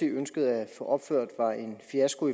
ønskede opført var en fiasko